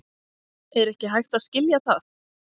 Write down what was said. Er ekki hægt að skilja það?